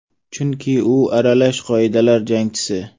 Chunki u aralash qoidalar jangchisi.